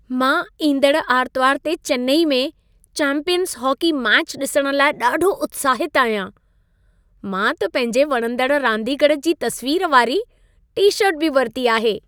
मां ईंदड़ आरितवारु ते चेन्नई में चैंपियंस हॉकी मैच ॾिसण लाइ ॾाढो उत्साहितु आहियां। मां त पंहिंजे वणंदड़ु रांदीगरु जी तस्वीर वारी टी-शर्ट बि वरिती आहे।